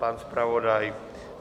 Pan zpravodaj?